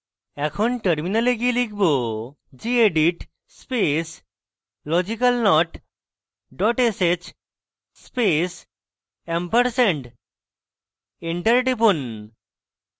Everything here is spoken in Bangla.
এখন terminal গিয়ে লিখব gedit space logicalnot dot sh space & enter টিপুন